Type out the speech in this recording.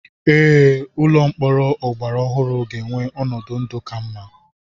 Ee, Ụlọ mkpọrọ ọgbara ọhụrụ ga-enwe ọnọdụ ndụ ka mma.